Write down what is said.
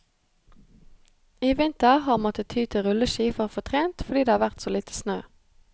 I vinter har han måttet ty til rulleski for å få trent, fordi det har vært så lite snø.